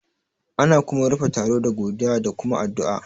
Ana kuma rufe taro da godiya da kuma addu'a